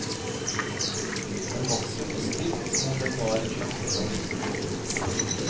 Den vokser på stilk som om den var en slags blomst.